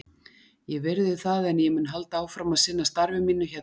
Ég virði það, en ég mun halda áfram að sinna starfi mínu hérna.